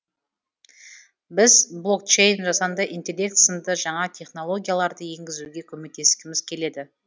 біз блокчейн жасанды интеллект сынды жаңа технологияларды енгізуге көмектескіміз келеді